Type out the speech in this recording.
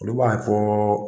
Olu b'a fɔɔ.